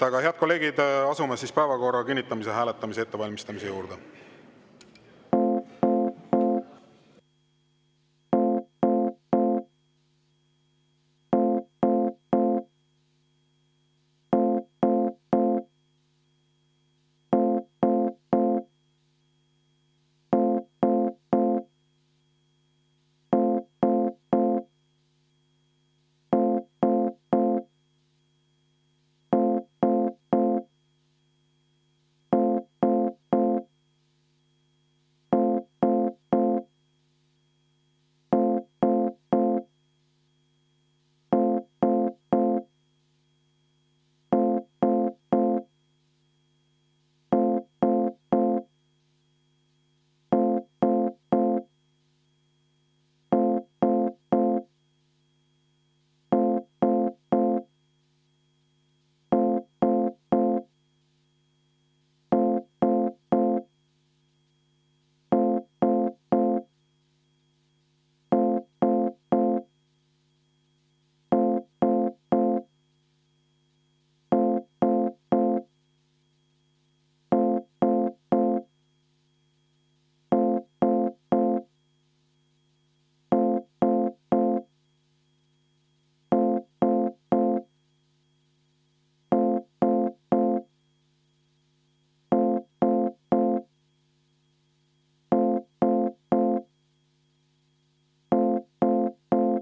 Aga, head kolleegid, asume päevakorra kinnitamise hääletuse ettevalmistamise juurde.